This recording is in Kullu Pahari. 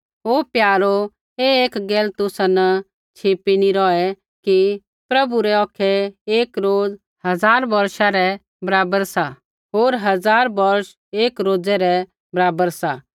हे प्यारो ऐ एक गैल तुसा न छिपी नी रौहै कि प्रभु रै औखै एक रोज़ हज़ार बौष रै बराबर सा होर हज़ार बौष एक रोज़ै रै बराबर सा